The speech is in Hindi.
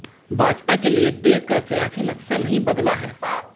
भाजपा के लिए देश का सियासी नक्शा नहीं बदला है